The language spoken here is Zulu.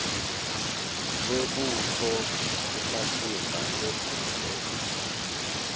lwebutho ufasimba engungwe